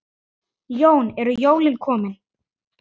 Jón: Eru jólin komin?